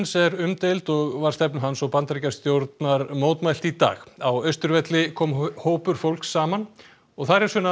er umdeild og var stefnu hans og Bandaríkjastjórnar mótmælt í dag á Austurvelli kom hópur fólks saman og þar er Sunna